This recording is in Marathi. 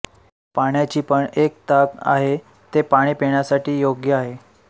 पाण्याची पण एक ताक आहे ते पाणी पिण्यासाठी योग्य आहे